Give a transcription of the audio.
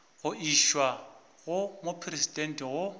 go išwa go mopresidente go